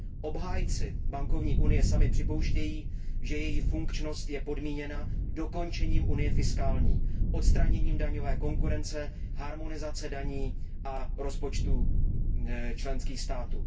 Obhájci bankovní unie sami připouštějí, že její funkčnost je podmíněna dokončením unie fiskální, odstraněním daňové konkurence, harmonizací daní a rozpočtů členských států.